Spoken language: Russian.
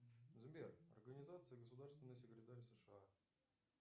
сбер организация государственный секретарь сша